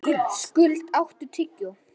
Skuld, áttu tyggjó?